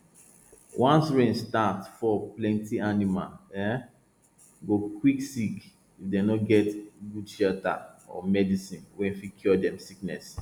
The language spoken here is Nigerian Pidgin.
once rain start fall plenty animals um go quick sick if dem no get good shelter or medicine wey fit cure dem sickness